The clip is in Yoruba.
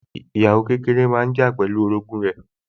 Ìyàwó kékeré máa ń jà pẹ̀lú orogún rẹ̀